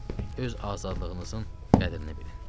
Öz azadlığınızın qədrini bilin.